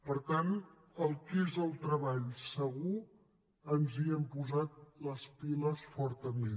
per tant el que és el treball segur ens hi hem posat les piles fortament